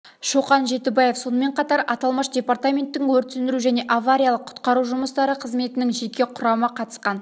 шоқан жетібаев сонымен қатар аталмыш департаментің өрт сөндіру және авариялық-құтқару жұмыстары қызметінің жеке құрамы қатысқан